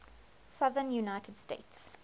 southern united states